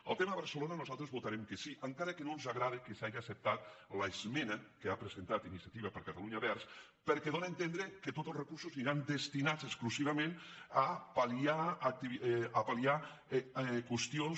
al tema de barcelona nosaltres hi vota·rem que sí encara que no ens agrada que s’haja accep·tat l’esmena que ha presentat iniciativa per catalunya verds perquè dóna a entendre que tots els recursos aniran destinats exclusivament a pal·liar qüestions